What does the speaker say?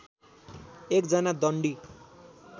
एक जना दण्डी